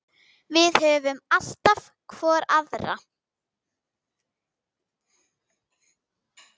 Við höfum alltaf hvor aðra.